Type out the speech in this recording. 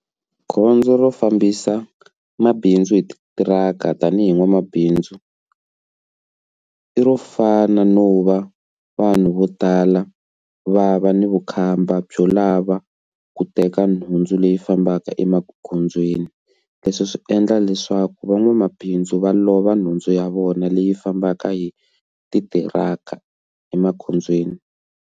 Gondzo ro fambisa mabindzu hi titiraka tanihi n'wamabindzu i ro fana no va vanhu vo tala va va ni vukhamba byo lava ku teka nhundzu leyi fambaka emagondzweni leswi swi endla leswaku van'wamabindzu va lova nhundzu ya vona leyi fambaka hi ti tirhaka emagondzweni.